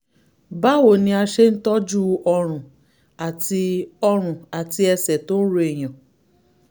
báwo ni a ṣe ń tọ́jú ọrùn àti ọrùn àti ẹsẹ̀ tó ń ro èèyàn?